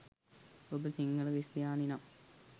ඔබ සිංහල ක්‍රිස්තියානි නම්